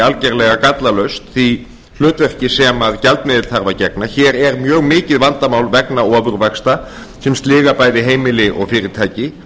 algerlega gallalaust því hlutverki sem gjaldmiðill þarf að gegna hér er mikið vandamál vegna ofurvaxta sem sliga bæði heimili og fyrirtæki